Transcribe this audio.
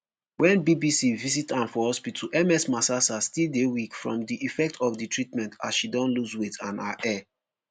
wen bbc visit am for hospital ms masasa still dey weak from di effect of di treatment as she don loose weight and her hair.